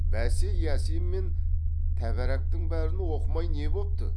бәсе ясин мен тәбәрәктің бәрін оқымай не бопты